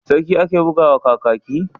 Sarki ake buga wa Kakaki?